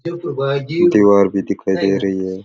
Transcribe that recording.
दिवार भी दिखाई दे रही है।